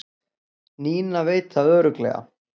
Nína veit það örugglega